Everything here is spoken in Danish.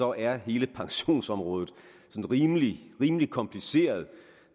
er hele pensionsområdet rimelig rimelig kompliceret